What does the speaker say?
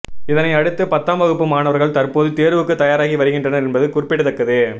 இதனை அடுத்து பத்தாம் வகுப்பு மாணவர்கள் தற்போது தேர்வுக்கு தயாராகி வருகின்றனர் என்பது குறிப்பிடத்தக்கது